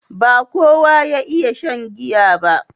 ba kowa ya iya shan giya ba